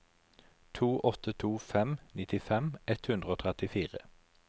to åtte to fem nittifem ett hundre og trettifire